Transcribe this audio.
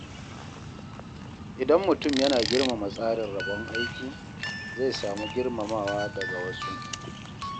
Idan mutum yana girmama tsarin rabon aiki, zai samu girmamawa daga wasu.